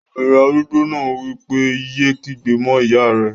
Obìnrin arúgbó náà wí pé, "yé kígbe mọ́ ìyá rẹ!"